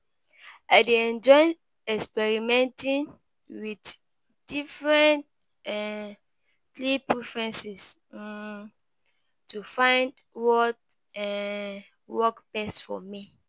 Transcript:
I dey enjoy experimenting with different um sleep preferences um to find what um work best for me.